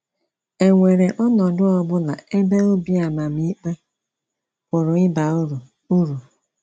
È nwèré ọnọdụ ọ bụla ebe obi àmàmìke pụrụ ịba uru uru?